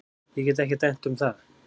Ég get ekki dæmt um það.